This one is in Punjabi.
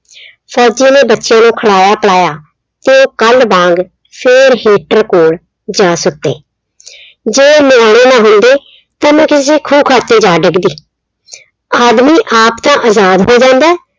ਫੌਜੀ ਨੇ ਬੱਚਿਆਂ ਨੂੰ ਖਿਲਾਇਆ ਪਿਲਾਇਆ ਤੇ ਉਹ ਕੱਲ ਵਾਂਗ ਫਿਰ heater ਕੋਲ ਜਾ ਸੁੱਤੇ। ਜੇ ਨਿਆਣੇ ਨਾ ਹੁੰਦੇ ਤਾਂ ਮੈਂ ਕਿਸੇ ਖੂਹ ਖਾਤੇ ਜਾ ਡਿੱਗਦੀ, ਆਦਮੀ ਆਪ ਤਾਂ ਆਜ਼ਾਦ ਹੋ ਜਾਂਦਾ